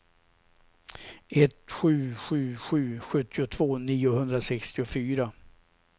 ett sju sju sju sjuttiotvå niohundrasextiofyra